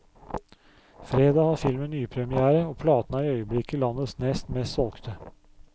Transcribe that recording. Fredag har filmen nypremière, og platen er i øyeblikket landets nest mest solgte.